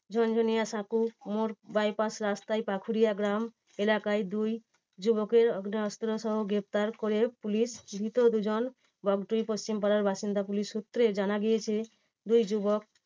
ঝনঝনিয়া সাঁকোর মোর bypass রাস্তায় পাথুরিয়া গ্রাম এলাকায় দুই যুবকের আগ্নেয় অস্ত্র সহ গ্রেপ্তার করে পুলিশ ধৃত দুজন বগটুই পশ্চিমপাড়ার বাসিন্দা। পুলিশ সূত্রে জানা গিয়েছে দুই যুবক